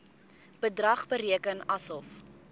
bedrag bereken asof